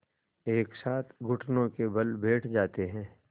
एक साथ घुटनों के बल बैठ जाते हैं